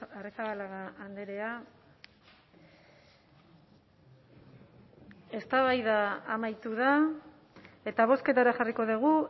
arrizabalaga andrea eztabaida amaitu da eta bozketara jarriko dugu